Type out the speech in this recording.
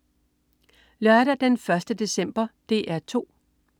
Lørdag den 1. december - DR 2: